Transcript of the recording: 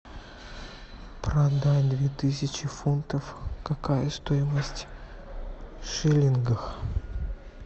продать две тысячи фунтов какая стоимость в шиллингах